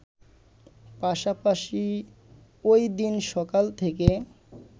পাশাপাশি ওইদিন সকাল থেকে